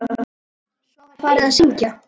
Svo var farið að syngja.